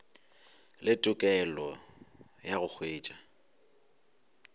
le tokelo ya go hwetša